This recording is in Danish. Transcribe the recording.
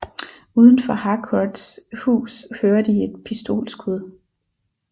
Uden for Harcourts hus hører de et pistolskud